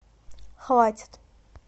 хватит